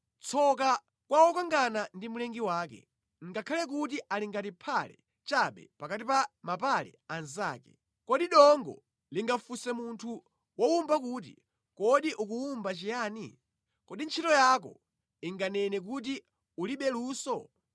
“Tsoka kwa wokangana ndi mlengi wake, ngakhale kuti ali ngati phale chabe pakati pa mapale anzake. Kodi dongo lingafunse munthu wowumba kuti, ‘Kodi ukuwumba chiyani?’ Kodi ntchito yako inganene kuti, ‘Ulibe luso?’